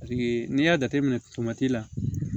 n'i y'a jateminɛ la